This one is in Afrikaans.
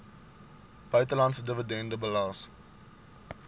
buitelandse dividende belas